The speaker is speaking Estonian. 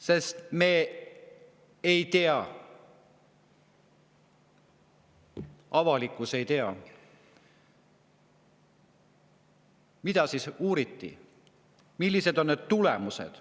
Sest me ei tea, avalikkus ei tea, mida uuriti ja millised on tulemused.